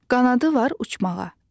Qanadı var uçmağa.